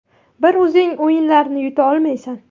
Bir o‘zing o‘yinlarni yuta olmaysan”.